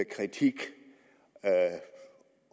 kritik